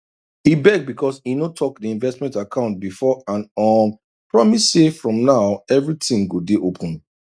e beg because e no talk the investment account before and um promise say from now everything go day open